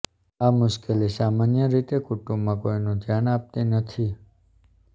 આ મુશ્કેલી સામાન્ય રીતે કુટુંબમાં કોઇનું ધ્યાન આપતી નથી